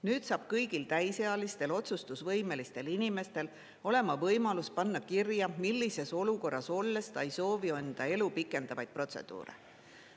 Nüüd saab kõigil täisealistel otsustusvõimelistel inimestel olema võimalus panna kirja, millises olukorras olles ta ei soovi enda elu pikenevaid protseduure.